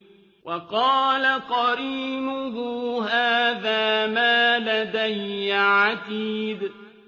وَقَالَ قَرِينُهُ هَٰذَا مَا لَدَيَّ عَتِيدٌ